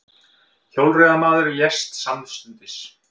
Hjólreiðamaður lést samstundis